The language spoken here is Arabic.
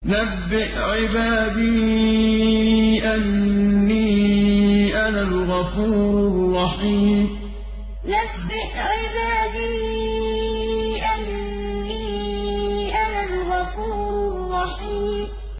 ۞ نَبِّئْ عِبَادِي أَنِّي أَنَا الْغَفُورُ الرَّحِيمُ ۞ نَبِّئْ عِبَادِي أَنِّي أَنَا الْغَفُورُ الرَّحِيمُ